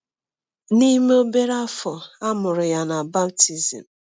N’ime obere afọ, a mụrụ ya baptizim.